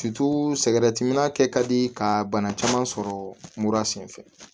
kɛ ka di ka bana caman sɔrɔ mura sen fɛ